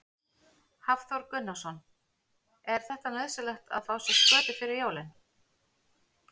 Hafþór Gunnarsson: Er þetta nauðsynlegt að fá sér skötu fyrir jólin?